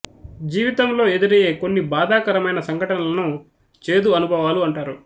జీవితంలో ఎదురయ్యే కొన్ని బాధాకరమైన సంఘటనలను చేదు అనుభవాలు అంటారు